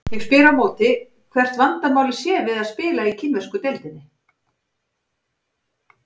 Ég spyr á móti hvert vandamálið sé við að spila í kínversku deildinni?